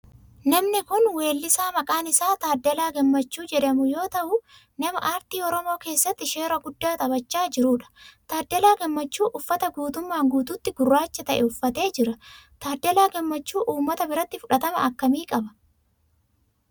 namni kun weellisaa maqaan isaa Taddalaa Gammachuu jedhamu yoo ta'u nama aartii oromoo keesatti shoora guddaa taphachaa jirudha. Taddalaa Gammachuu uffata guutumaan guututti gurraacha ta'e uffate jira. Taddalaa Gammachuu ummata biratti fudhatama akkamii qaba?